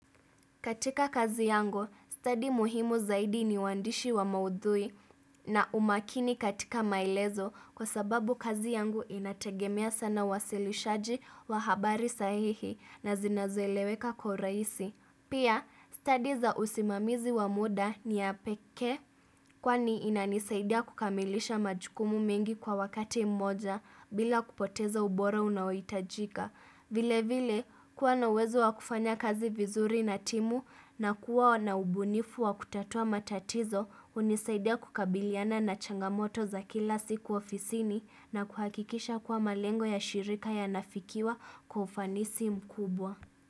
Katika kazi yangu, stadi muhimu zaidi ni waandishi wa maudhui na umakini katika maelezo kwa sababu kazi yangu inategemea sana wasilishaji wa habari sahihi na zinazoeleweka kwa urahisi. Pia, study za usimamizi wa muda ni ya pekee kwani inanisaidia kukamilisha majukumu mengi kwa wakati mmoja bila kupoteza ubora unaoitajika. Vile vile kuwa nauwezo wa kufanya kazi vizuri na timu na kuwa na ubunifu wa kutatua matatizo unisaidia kukabiliana na changamoto za kila siku ofisini na kuhakikisha kuwa malengo ya shirika ya nafikiwa kwa ufanisi mkubwa.